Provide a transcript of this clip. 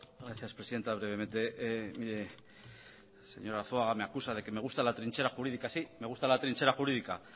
gracias presidenta brevemente mire señor arzuaga me acusa de que me gusta la trinchera jurídica sí me gusta la trinchera jurídica